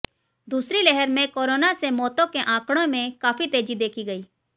दूसरी लहर में कोरोना से मौतों के आंकड़े में काफी तेजी देखी गई